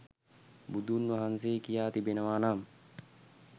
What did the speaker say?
බුදුන්වහන්සේ කියා තිබෙනවා නම්